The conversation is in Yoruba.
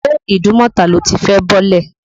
Ṣé Ìdúnmọ̀tà lo ti fẹ́ bọ́lẹ̀?.